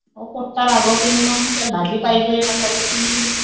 अहो पोट्टा रागवतोय ना मंग, त्याला भाजी पाहिजे म्हसाल्याची.